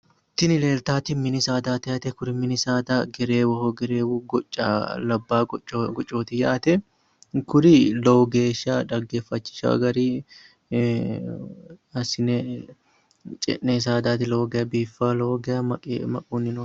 Tini leeltawoti mini saadaati yaate. Kuri mini saadano gereewoho. Gereewu gocca labbaa gocca gocooti yaate. Kuri lowo geeshsha dhaggeeffachishawo garinni assine ce'noyi saadaati. Lowo geya biiffawo. Lowo geya maquunni no.